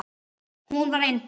Hún var yndi.